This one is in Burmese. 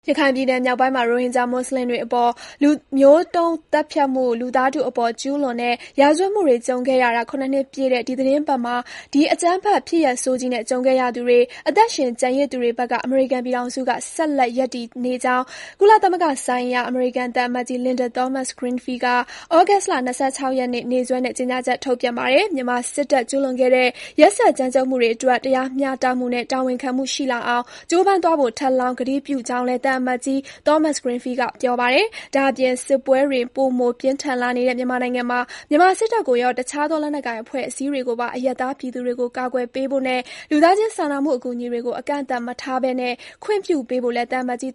ရခိုင်ပြည်နယ် မြောက်ပိုင်းမှာ ရိုဟင်ဂျာ မွတ်ဆလင်တွေအပေါ် လူမျိုးတုံး သတ်ဖြတ်မှု၊ လူသားထုအပေါ် ကျူးလွန်တဲ့ ရာဇဝတ်မှုတွေ ကြုံခဲ့ရတာ ၇ နှစ်ပြည့်တဲ့ ဒီသီတင်းပတ်မှာ ဒီအကြမ်းဖက် ဖြစ်ရပ်ဆိုးကြီးနဲ့ ကြုံခဲ့ရသူတွေ၊ အသက်ရှင်ကျန်ရစ်သူတွေဘက်က အမေရိကန်ပြည်ထောင်စုက ဆက်လက် ရပ်တည်နေကြောင်း ကုလသမဂ္ဂဆိုင်ရာ အမေရိကန်သံအမတ်ကြီး Linda Thomas-Greenfield က သြဂုတ်လ ၂၆ ရက်နေ့ နေ့စွဲနဲ့ ကြေညာချက် ထုတ်ပြန်ပါတယ်။ မြန်မာစစ်တပ် ကျူးလွန်ခဲ့တဲ့ ရက်စက်ကြမ်းကြုတ်မှုတွေအတွက် တရားမျှတမှုနဲ့ တာဝန်ခံမှု ရှိလာအောင် ကြိုးပမ်းသွားဖို့ ထပ်လောင်း ကတိပြုကြောင်းလည်း သံအမတ်ကြီး Thomas-Greenfield က ပြောပါတယ်။ ဒါ့အပြင် စစ်ပွဲတွေ ပိုမို ပြင်းထန်လာနေတဲ့ မြန်မာနိုင်ငံမှာ မြန်မာစစ်တပ်ကိုရော၊ တခြားသော လက်နက်ကိုင် အဖွဲ့အစည်းတွေကိုပါ အရပ်သား ပြည်သူတွေကို ကာကွယ်ပေးဖို့နဲ့ လူသားချင်းစာနာမှု အကူအညီတွေကို အကန့်အသတ် မထားဘဲ ခွင့်ပြုပေးဖို့လည်း သံအမတ်ကြီး